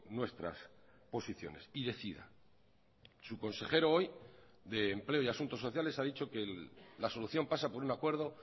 nuestras posiciones y decida su consejero hoy de empleo y asuntos sociales ha dicho que la solución pasa por un acuerdo